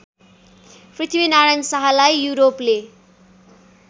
पृथ्वीनारायण शाहलाई युरोपले